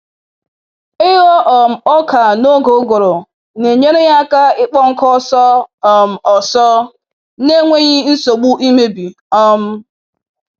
Ịghọ um ọka n'oge uguru na-enyere ya aka ịkpọ nkụ ọsọ um ọsọ na-enweghị nsogbu imebi. um